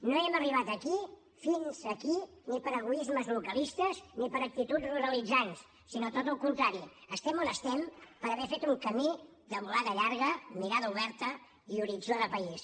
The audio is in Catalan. no hem arribat fins aquí ni per egoismes localistes ni per actituds ruralitzants sinó tot al contrari estem on estem per haver fet un camí de volada llarga mirada oberta i horitzó de país